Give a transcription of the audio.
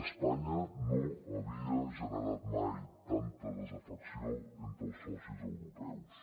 espanya no havia generat mai tanta desafecció entre els socis europeus